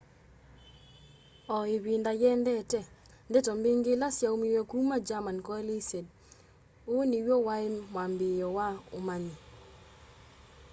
o ivinda yiendete ndeto mbingi ila syaumiw'e kuma german coalesced uu niw'o wai mwambiio wa umanyi